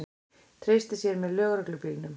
Treysti sér með lögreglubílnum